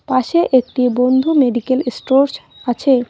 পাশে একটি বন্ধু মেডিকেল এস্টরস আছে।